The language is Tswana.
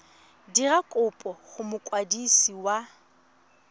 dira kopo go mokwadisi wa